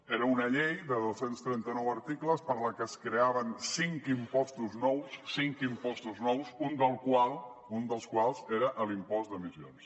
era una llei de dos cents i trenta nou articles per la que es creaven cinc impostos nous cinc impostos nous un dels quals era l’impost d’emissions